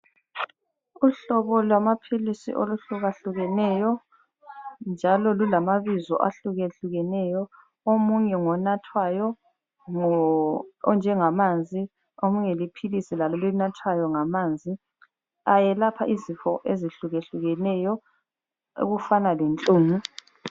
Uhlobo lwamaphilisi oluhlukahlukeneyo njalo lulamabizo ahlukahlukeneyo. Omunye ngonathwayo onjengamanzi omunye liphilisi lalo elinathwayo ngamanzi. Ayelapha izinto ezihlukahlukeneyo okufana lenhlungu.